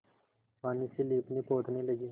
पानी से लीपनेपोतने लगी